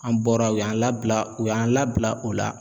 An bɔra u y'an labila u y'an labila o la.